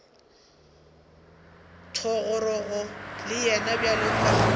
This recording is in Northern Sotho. thogorogo le yena bjalo ka